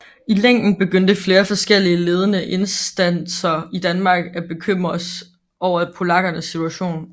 I længden begyndte flere forskellige ledende instanser i Danmark at bekymres over polakkernes situation